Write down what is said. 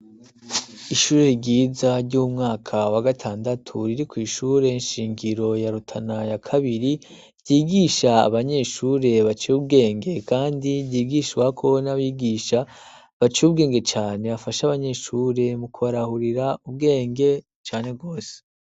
Ishure ryiza ry'umwaka wa gatandatu riri kw' ishure shingiro ya Rutana ya Kabiri, ryigisha abanyeshure bace ubwenge, kandi ryigishwako n'abigisha baciye ubwenge cane, bafasha abanyeshure mu kubarahurira ubwenge cane rwose.